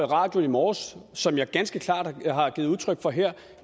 radioen i morges og som jeg ganske klart har givet udtryk for her